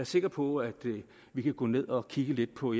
sikker på at vi kan gå ned og kigge lidt på